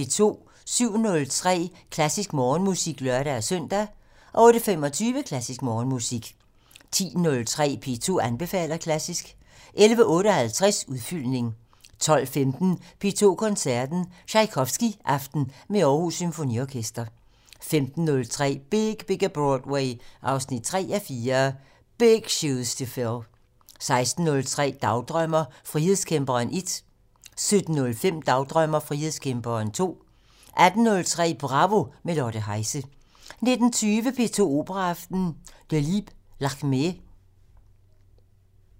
07:03: Klassisk Morgenmusik (lør-søn) 08:25: Klassisk Morgenmusik 10:03: P2 anbefaler klassisk 11:58: Udfyldning 12:15: P2 Koncerten - Tjajkovskijaften med Aarhus Symfoniorkester 15:03: Big Bigger Broadway 3:4 - Big Shoes to fill 16:03: Dagdrømmer: Frihedskæmperen 1 17:05: Dagdrømmer: Frihedskæmperen 2 18:03: Bravo - med Lotte Heise 19:20: P2 Operaaften - Delibes: Lakmé